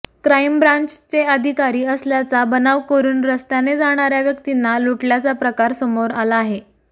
crime ब्रान्चचे अधिकारी असल्याचा बनाव करुन रस्त्याने जाणाऱ्या व्यक्तींना लुटल्याचा प्रकार समोर आला आहे